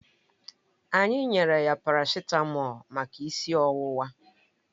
Anyị nyere ya paracitamọ̀lu maka isi ọwụwa